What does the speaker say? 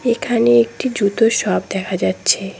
এখানে একটি জুতোর শপ দেখা যাচ্ছে।